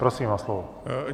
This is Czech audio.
Prosím, máte slovo.